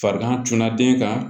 Farigan tunna den kan